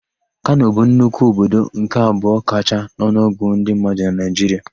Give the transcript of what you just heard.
Kano bụ nnukwu obodo nke abụọ kachaa n'ọnụọgụ ndị mmadụ na Naịjiria.